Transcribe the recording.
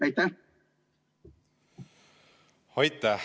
Aitäh!